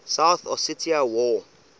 south ossetia war